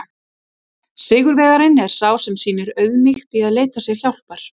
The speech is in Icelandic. Sigurvegarinn er sá sem sýnir auðmýkt í að leita sér hjálpar!